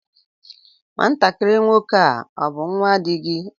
Nwatakịrị nwoke a ọ bú nnwa di gị?